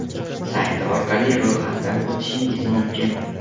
sayti orqali ro‘yxatdan o‘tishingiz mumkin.